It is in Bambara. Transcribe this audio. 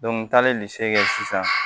n taalen kɛ sisan